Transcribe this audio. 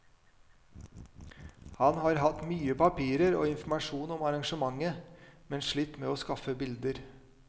Han har hatt mye papirer og informasjon om arrangementet, men slitt med å skaffe bilder.